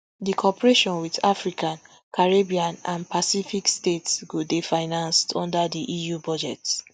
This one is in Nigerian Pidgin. di cooperation wit african caribbean and pacific states go dey financed under di eu budget